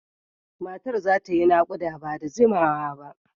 Matar za ta yi nakuda ba da jimawa ba.